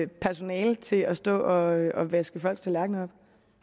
personale til at stå og vaske folks tallerkner